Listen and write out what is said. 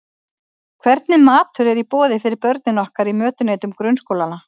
Hvernig matur er í boði fyrir börnin okkar í mötuneytum grunnskólanna?